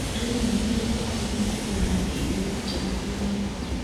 Arĩmi magĩrĩirwo mamenye kũharĩria irio njega cia mahiũ.